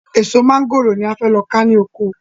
Èso mọ̀ngòrò ni a lọ ká ní oko